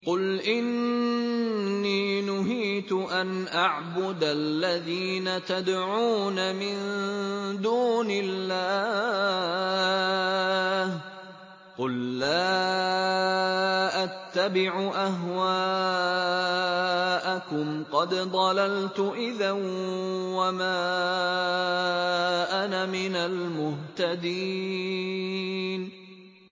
قُلْ إِنِّي نُهِيتُ أَنْ أَعْبُدَ الَّذِينَ تَدْعُونَ مِن دُونِ اللَّهِ ۚ قُل لَّا أَتَّبِعُ أَهْوَاءَكُمْ ۙ قَدْ ضَلَلْتُ إِذًا وَمَا أَنَا مِنَ الْمُهْتَدِينَ